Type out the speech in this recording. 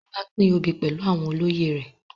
Ọba pín obi pẹlu àwọn olóyè rẹ